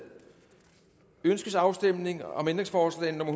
ønskes afstemning om ændringsforslag nummer